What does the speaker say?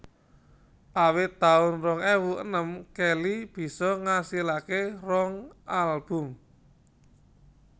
Awit taun rong ewu enem Kelly bisa ngasilaké rong album